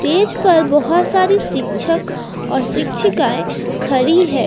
Stage पर बहोत सारी शिक्षक और शिक्षिकाएं खड़ी है।